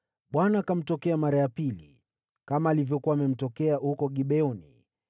Bwana akamtokea mara ya pili, kama alivyokuwa amemtokea huko Gibeoni.